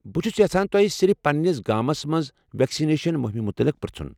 بہٕ چھس یژھان تۄہہ صرف پننس گامس منٛز ویکسنیشن مٗہمہِ متعلِق پرژھُن۔